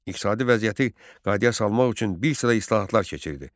İqtisadi vəziyyəti qaydaya salmaq üçün bir sıra islahatlar keçirdi.